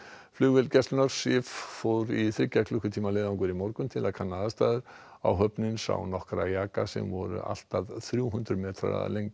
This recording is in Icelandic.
flugvél gæslunnar Sif fór í þriggja klukkutíma leiðangur í morgun til að kanna aðstæður áhöfnin sá nokkra jaka sem voru allt að þrjú hundruð metrar að lengd